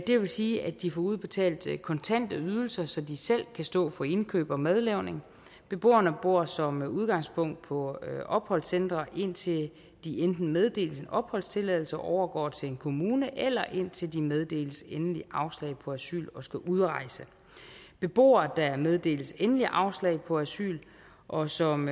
det vil sige at de får udbetalt kontante ydelser så de selv kan stå for indkøb og madlavning beboerne bor som udgangspunkt på opholdscentre indtil de enten meddeles en opholdstilladelse og overgår til en kommune eller indtil de meddeles endeligt afslag på asyl og skal udrejse beboere der meddeles endeligt afslag på asyl og som